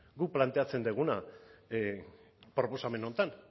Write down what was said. guk planteatzen duguna proposamen honetan